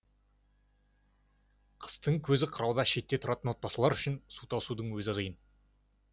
қыстың көзі қырауда шетте тұратын отбасылар үшін су тасудың өзі қиын